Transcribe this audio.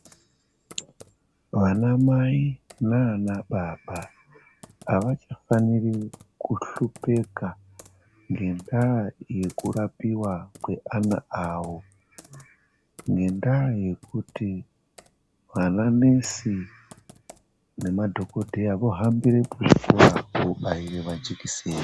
Vana mai nana baba avachafaniri kuhlupika ngendaa yekurapiwa kweana awo ngendaa yekuti vana nesi nemadhokodheya vohambira kuzvikora kobaire majekiseni.